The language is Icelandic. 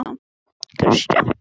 Hvað getur þú gert í því?